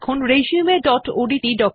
এবার resumeওডিটি